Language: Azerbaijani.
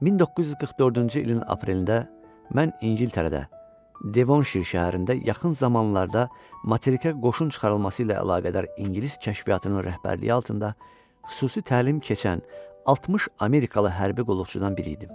1944-cü ilin aprelində mən İngiltərədə, Devonşir şəhərində yaxın zamanlarda materikə qoşun çıxarılması ilə əlaqədar ingilis kəşfiyyatının rəhbərliyi altında xüsusi təlim keçən 60 amerikalı hərbi qulluqçudan biri idim.